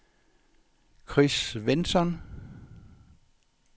Chris Svensson